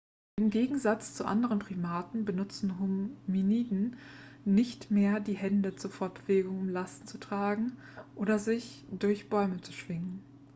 im gegensatz zu anderen primaten benutzen hominiden nicht mehr die hände zur fortbewegung um lasten zu tragen oder um sich durch bäume zu schwingen